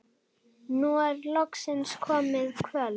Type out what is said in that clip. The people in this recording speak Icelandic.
Nú er loksins komið kvöld.